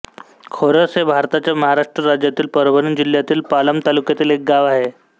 खोरस हे भारताच्या महाराष्ट्र राज्यातील परभणी जिल्ह्यातील पालम तालुक्यातील एक गाव आहे